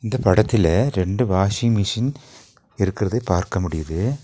இந்தப் படத்திலே ரெண்டு வாஷிங் மெஷின் இருக்கறது பார்க்க முடியுது.